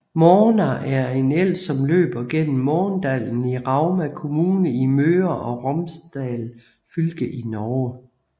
Måna er en elv som løber gennem Måndalen i Rauma kommune i Møre og Romsdal fylke i Norge